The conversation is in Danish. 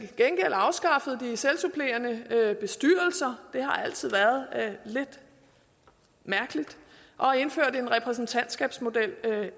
gengæld afskaffe de selvsupplerende bestyrelser det har altid været lidt mærkeligt og indføre en repræsentantskabmodel